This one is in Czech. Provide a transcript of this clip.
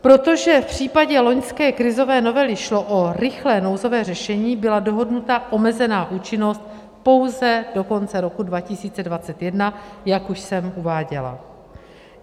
Protože v případě loňské krizové novely šlo o rychlé nouzové řešení, byla dohodnuta omezená účinnost pouze do konce roku 2021, jak už jsem uváděla.